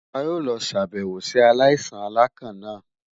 A yoo lọ ṣabẹwo si alaisan alakan naa